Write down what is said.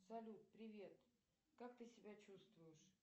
салют привет как ты себя чувствуешь